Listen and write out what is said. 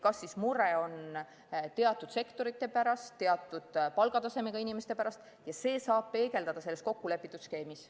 Kas mure on teatud sektorite pärast, teatud palgatasemega inimeste pärast – seda saab peegeldada selles kokkulepitud skeemis.